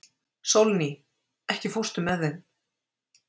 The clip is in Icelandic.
Sólný, ekki fórstu með þeim?